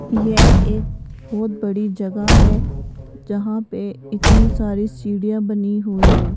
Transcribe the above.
यह एक बहोत बड़ी जगह है जहां पे इतनी सारी सीढ़ियां बनी हुई है।